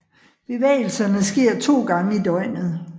Bevægelserne sker to gange i døgnet